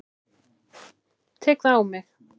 Ég tek það á mig.